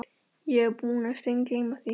Ég var búinn að steingleyma því.